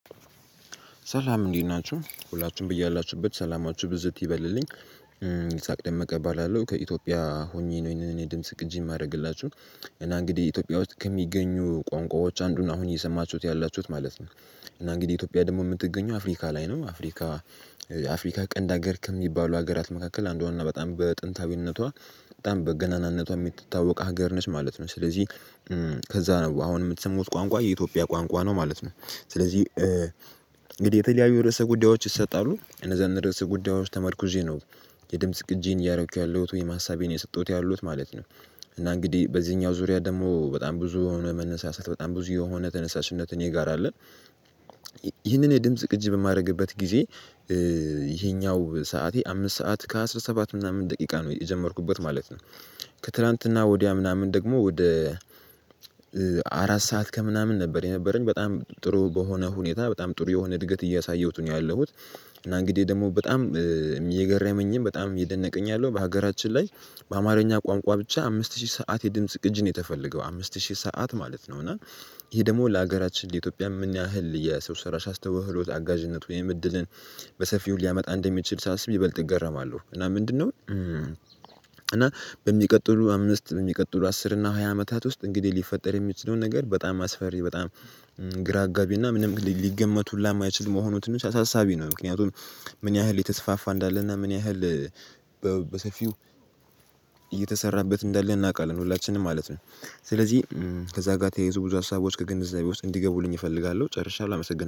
ሰላም እንዴት ናችሁ ሁላቹሁም በያላችሁበት ሰላማችሁ ብዝት ይበልልኝ። ይሳቅ ደመቀ እባላለው ከኢትዮጵያ ሆኜ ነው እኔ ድምጽ ቅጂ የማደርግላችሁ እና እንግዲህ ኢትዮጵያ ውስጥ ከሚገኙ ቋንቋዎች አንዱን አሁን እየሰማችሁት ያላችሁት ማለት ነው። እና እንግዲህ ኢትዮጵያ ደግሞ የምትገኘው አፍሪካ ላይ ነው አፍሪካ አፍሪካ ቀንድ ሀገር ከሚባሉ ሀገራት መካከል አንዷን እና በጣም በጥንታዊነቷ በገናናነቷ የምትታወቅ ሀገር ነች ማለት ነው። ስለዚህ ከዛ ነው አሁን የምትሰሙት ቋንቋ የኢትዮጵያ ቋንቋ ነው ማለት ነው። ስለዚህ እንግዲህ የተለያዩ ርዕሰ ጉዳዮች ይሰጣሉ እነዛን ርዕስ ጉዳዮች ተመርኩዤ ነው። የድምጽ ቅጂዬን እያደረኩ ያለሁት ወይም ሀሳቤን እየሰጠሁት ያለሁት ማለት ነው። እና እንግዲህ በዚህኛው ዙሪያ ደግሞ በጣም ብዙ የሆነ መነሳሳት በጣም ብዙ የሆነ ተነሳሽነትን እኔ ጋራ አለ። ይህንን የድምጽ ቅጅ በማድረግበት ጊዜ ይሄኛው ሰዓቴ አምስት ሰዓት ከአሥራ ሰባት ምናምን ደቂቃ ነው የጀመርኩበት ማለት ነው። ከትላንትና ወዲያ ምናምን ደግሞ ወደ አራት ሰዓት ከምናምን ነበር የነበረኝ በጣም ጥሩ በሆነ ሁኔታ በጣም ጥሩ የሆነ እድገት እያሳየሁት ነው ያለሁት። እና እንግዲህ ደግሞ በጣም የገራመኝም በጣም የደነቀኝ ያለው በሀገራችን ላይ በአማርኛ ቋንቋ ብቻ አምስት ሺህ ሰዓት የድምጽ ቅጅ ነው የተፈለገው አምስት ሺህ ሰዓት ማለት ነው። እና ይሄ ደግሞ ለሀገራችን ለኢትዮጵያ ምን ያሀል የሰው ሰራሽ አስተዉህሎት አጋዥነት ወይም እድልን በሰፊው ሊያመጣ እንደሚችል ሳስብ ይበልጥ እገረማለሁ እና ምንድነው? እና በሚቀጥሉ አምስት በሚቀጥሉ አስር እና ሃያ አመታት ውስጥ እንግዲህ ሊፈጠር የሚችለው ነገር በጣም አስፈሪ በጣም ግራ አጋቢ እና ምንም ሊገመት ሁላ እማይችል መሆኑን ትንሽ አሳሳቢ ነው። ምክንያቱም ምን ያህል የተስፋፋ እንዳለና ምን ያህል በሰፊው እየተሰራበት እንዳለ እናውቃለን ሁላችንም ማለት ነው። ስለዚህ ከዛ ጋር ተያይዞ ብዙ ሀሳቦች ከግንዛቤ ውስጥ እንዲገቡልኝ እፈልጋለሁ ጨርሻለሁ አመሰግናለሁ